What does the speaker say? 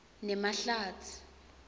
nemahlatsi